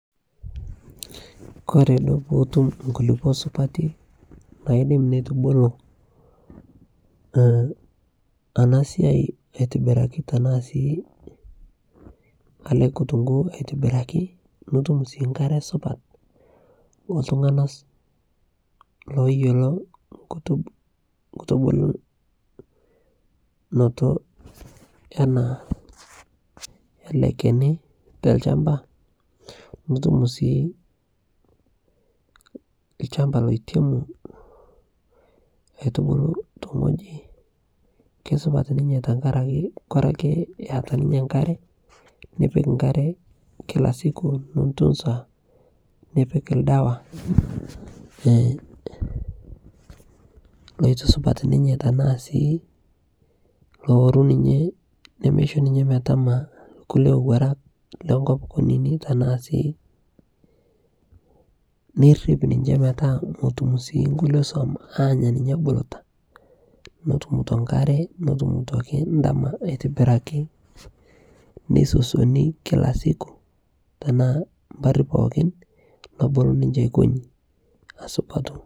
Kore dupoto oonkulupuo supati, naidim neitubulu aaah enasia atibiraki tenaa sii enekitunguu atobiraki nitum sii enkare supat, oltunganak ooyiolo nkutubulunoto ena keni olchamaba, naa itum sii olchamba oidimu atubulu tene wueji. Keisupat naa ninye tenkaraki eyata ninye enkare. Nipik enkare kilasiku nintunsa nipik oldawa netisupat ninye tenaa sii looru ninye nemeisho ninye metama kulie owuarak lenkop kunyinyik tenaa sii, nirip ninche metaa metum sii nkulie swam aanya ninye ebuluta. Netumito enkare, netumito oldama aitobiraki neisosioni kila siku tenaa mnarr pooki nebol ninche kwen nesupatu.